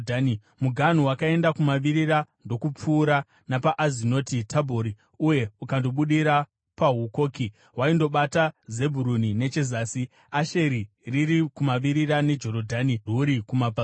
Muganhu wakaenda kumavirira ndokupfuura napaAzinoti Tabhori uye ukandobudira paHukoki. Waindobata Zebhuruni nechezasi, Asheri riri kumavirira neJorodhani rwuri kumabvazuva.